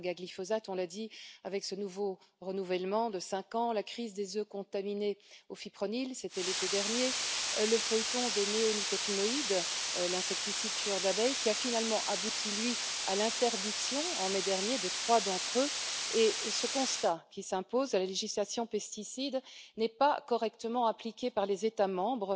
La saga glyphosate, on l'a dit, avec ce nouveau renouvellement de cinq ans, la crise des œufs contaminés au Fipronil c'était l'été dernier le feuilleton des néonicotinoïdes, insecticides tueurs d'abeilles qui a finalement abouti, lui, à l'interdiction, en mai dernier, de trois d'entre eux. Un constat s'impose la législation relative aux pesticide n'est pas correctement appliquée par les États membres.